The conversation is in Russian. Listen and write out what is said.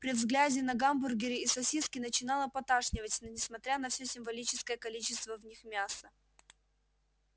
при взгляде на гамбургеры и сосиски начинало поташнивать несмотря на всё символическое количество в них мяса